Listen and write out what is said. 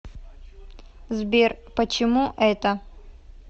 сбер почему это